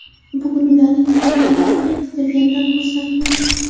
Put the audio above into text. Bugun ularning tug‘ilganligi qayd etilganidan xursandmiz.